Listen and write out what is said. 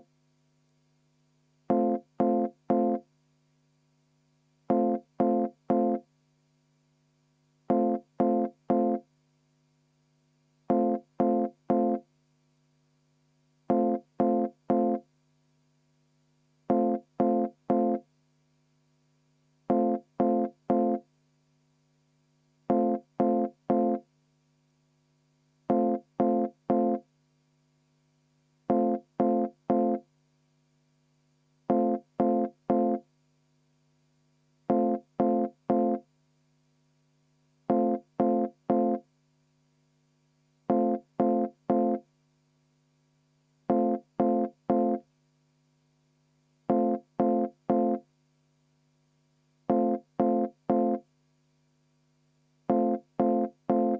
V a h e a e g